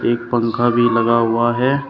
एक पंखा भी लगा हुआ है।